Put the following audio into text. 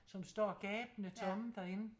Som står gabende tomme derinde